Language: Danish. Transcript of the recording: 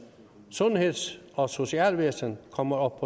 sundheds og socialvæsen kommer op